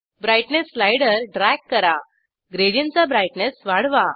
brightness slider drag करा gradient चा brightness वाढवा